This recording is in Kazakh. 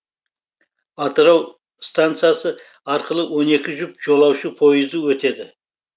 атырау стансасы арқылы он екі жұп жолаушы пойызы өтеді